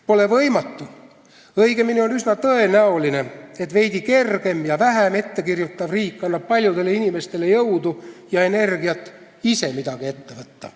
Pole võimatu, õigemini on üsna tõenäoline, et veidi kergem ja vähem ette kirjutav riik annab paljudele inimestele jõudu ja energiat ise midagi ette võtta.